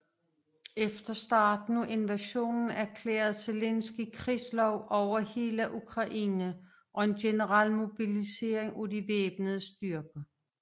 Efter starten af invasionen erklærede Zelenskyj krigslov over hele Ukraine og en generel mobilisering af de væbnede styrker